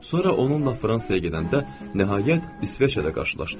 Sonra onunla Fransaya gedəndə nəhayət İsveçrədə qarşılaşdıq.